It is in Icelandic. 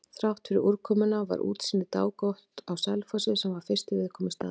Þráttfyrir úrkomuna var útsýni dágott á Selfossi, sem var fyrsti viðkomustaður.